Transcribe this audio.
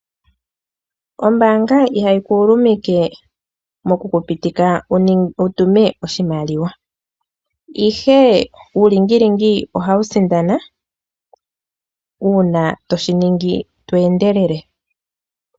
Ombaanga ihayi ku ulumike moku ku pitika wu tume oshimaliwa, ihe uulingilingi ohawu sindana uuna to shi ningi to endelele.